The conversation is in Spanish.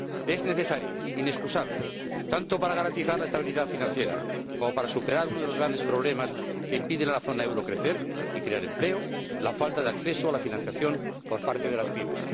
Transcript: Es necesario, inexcusable, tanto para garantizar la estabilidad financiera como para superar uno de los grandes problemas que impiden a la zona del euro crecer y crear empleo la falta de acceso a la financiación por parte de las PYME.